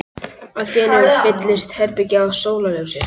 Allt í einu fyllist herbergið af sólarljósi.